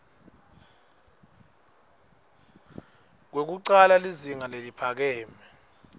lwekucala lizinga leliphakeme